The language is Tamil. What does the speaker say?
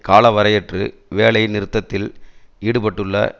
காலவரையற்று வேலை நிறுத்தத்தில் ஈடுபட்டுள்ள